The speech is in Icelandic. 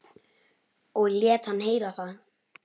Og lét hann heyra það.